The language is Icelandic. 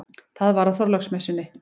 Það var á Þorláksmessunni.